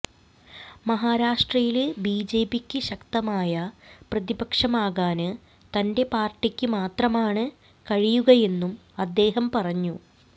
മഹാരാഷ്ട്രയില് ബിജെപിക്ക് ശക്തമായ പ്രതിപക്ഷമാകാന് തന്റെ പാര്ട്ടിക്ക് മാത്രമാണ് കഴിയുകയെന്നും അദ്ദേഹം പറഞ്ഞു